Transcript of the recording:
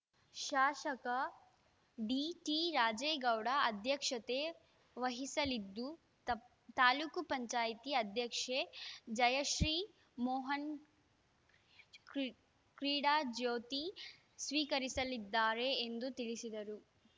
ಶಾಸಕ ಟಿಡಿರಾಜೇಗೌಡ ಅಧ್ಯಕ್ಷತೆ ವಹಿಸಲಿದ್ದು ತಪ್ ತಾಲೂಕ್ ಪಂಚಾಯತಿ ಅಧ್ಯಕ್ಷೆ ಜಯಶ್ರೀ ಮೋಹನ್‌ ಕ್ರಿ ಕ್ರೀಡಾಜ್ಯೋತಿ ಸ್ವೀಕರಿಸಲಿದ್ದಾರೆ ಎಂದು ತಿಳಿಸಿದರು